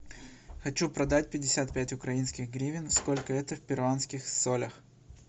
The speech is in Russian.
хочу продать пятьдесят пять украинских гривен сколько это в перуанских солях